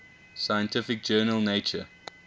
scientific journal nature